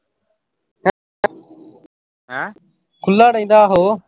ਖੁੱਲਾ ਰਹਿੰਦਾ ਆਹੋ।